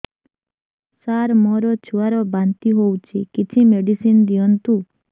ସାର ମୋର ଛୁଆ ର ବାନ୍ତି ହଉଚି କିଛି ମେଡିସିନ ଦିଅନ୍ତୁ